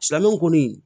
Sɛmɛ kɔni